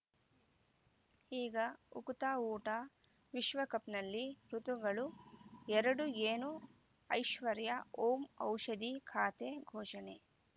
ಈಗ ಉಕುತ ಊಟ ವಿಶ್ವಕಪ್‌ನಲ್ಲಿ ಋತುಗಳು ಎರಡು ಏನು ಐಶ್ವರ್ಯಾ ಓಂ ಔಷಧಿ ಖಾತೆ ಘೋಷಣೆ